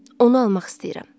Onu almaq istəyirəm.